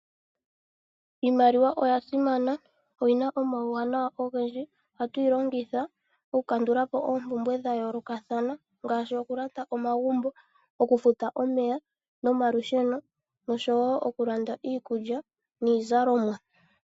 Iimaliwa oyasimana. Oyina omawu wanawa ogendji , ohatu yilongitha oku kandulapo oompumbwe dhayoolokathana ngaashi okulanda omagumbo, okufuta omeya nomalusheno noshowo oku landa iikulya niizalomwa.